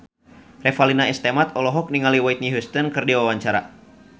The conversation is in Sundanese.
Revalina S. Temat olohok ningali Whitney Houston keur diwawancara